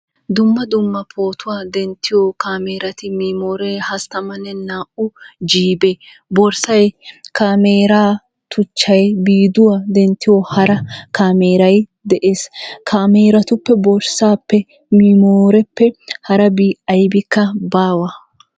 Dumma dumma pootuwaa denttiyoo caamerati, memooree,32u jiibee, borssay, caameeraa tuchchay, viidiyuwaa denttiyoo hara caammeeray, dees. caameratuppe borssappe miimoreppe harabi aybikka baawa.